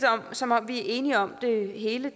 som om vi er enige om det hele